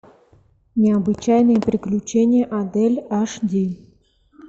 необычайные приключения адель аш ди